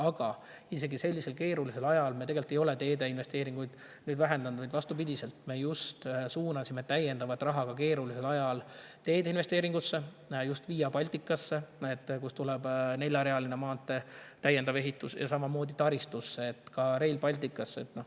Aga isegi sellisel keerulisel ajal me tegelikult ei ole teede investeeringuid vähendanud, vaid vastupidiselt suunasime just ka keerulisel ajal täiendavat raha teede investeeringutesse: Via Balticasse, kus tuleb neljarealise maantee täiendav ehitus, ja samamoodi taristusse, ka Rail Balticusse.